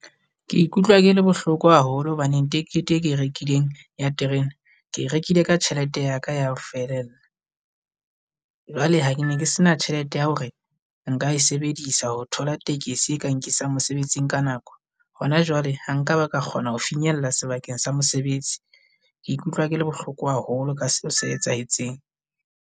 Ke ikutlwa ke le bohloko haholo hobaneng tekete e ke e rekileng ya terene, ke e rekile ka tjhelete ya ka ya ho felella. Jwale ha ke ne ke se na tjhelete ya hore nka e e sebedisa ho thola tekesi e ka nkisang mosebetsing ka nako. Hona jwale ha nka ba ka kgona ho finyella sebakeng sa mosebetsi. Ke ikutlwa ke le bohloko haholo ka seo se etsahetseng.